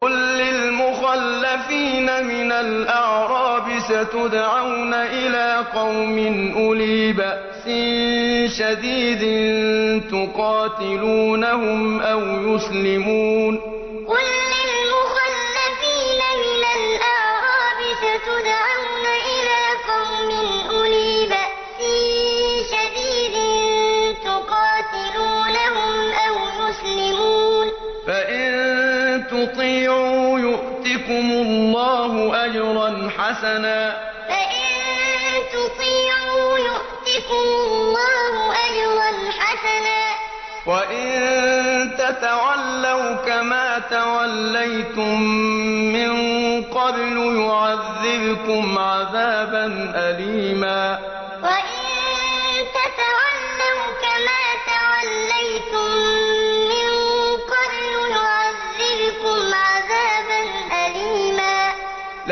قُل لِّلْمُخَلَّفِينَ مِنَ الْأَعْرَابِ سَتُدْعَوْنَ إِلَىٰ قَوْمٍ أُولِي بَأْسٍ شَدِيدٍ تُقَاتِلُونَهُمْ أَوْ يُسْلِمُونَ ۖ فَإِن تُطِيعُوا يُؤْتِكُمُ اللَّهُ أَجْرًا حَسَنًا ۖ وَإِن تَتَوَلَّوْا كَمَا تَوَلَّيْتُم مِّن قَبْلُ يُعَذِّبْكُمْ عَذَابًا أَلِيمًا قُل لِّلْمُخَلَّفِينَ مِنَ الْأَعْرَابِ سَتُدْعَوْنَ إِلَىٰ قَوْمٍ أُولِي بَأْسٍ شَدِيدٍ تُقَاتِلُونَهُمْ أَوْ يُسْلِمُونَ ۖ فَإِن تُطِيعُوا يُؤْتِكُمُ اللَّهُ أَجْرًا حَسَنًا ۖ وَإِن تَتَوَلَّوْا كَمَا تَوَلَّيْتُم مِّن قَبْلُ يُعَذِّبْكُمْ عَذَابًا أَلِيمًا